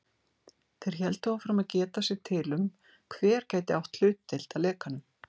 Þeir héldu áfram að geta sér til um, hver gæti átt hlutdeild að lekanum.